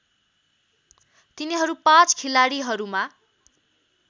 तिनीहरू पाँच खिलाडीहरूमा